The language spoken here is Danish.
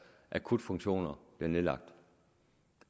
akutfunktioner bliver nedlagt